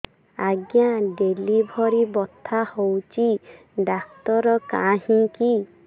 ଆଜ୍ଞା ଡେଲିଭରି ବଥା ହଉଚି ଡାକ୍ତର କାହିଁ କି